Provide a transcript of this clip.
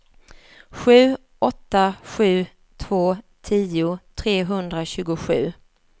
sju åtta sju två tio trehundratjugosju